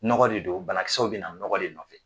Nɔgɔ de don banakisɛw bina nɔgɔ de nɔfɛ.